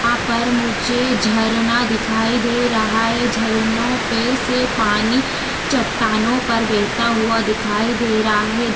यहाँ पर मुझे झरना दिखाई दे रहा है झरनों पे से पानी चटटानों पर बहता हुआ दिखाई दे रहा है।